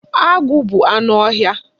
Agụ bụ anụ ọhịa.